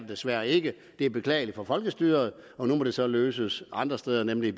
desværre ikke det er beklageligt for folkestyret nu må det så løses andre steder nemlig